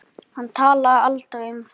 Hann talaði aldrei um það.